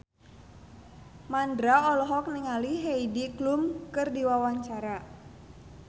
Mandra olohok ningali Heidi Klum keur diwawancara